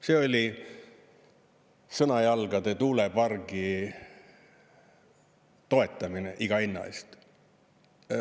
See oli Sõnajalgade tuulepargi toetamine iga hinna eest.